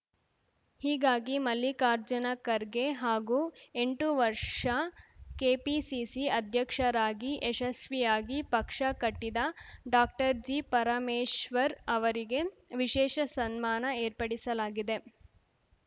ಹೀಗಾಗಿ ಮಲ್ಲಿಕಾರ್ಜುನ ಖರ್ಗೆ ಹಾಗೂ ಎಂಟು ವರ್ಷ ಕೆಪಿಸಿಸಿ ಅಧ್ಯಕ್ಷರಾಗಿ ಯಶಸ್ವಿಯಾಗಿ ಪಕ್ಷ ಕಟ್ಟಿದ ಡಾಕ್ಟರ್ಜಿ ಪರಮೇಶ್ವರ್‌ ಅವರಿಗೆ ವಿಶೇಷ ಸನ್ಮಾನ ಏರ್ಪಡಿಸಲಾಗಿದೆ